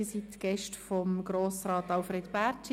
Sie sind Gäste von Grossrat Alfred Bärtschi.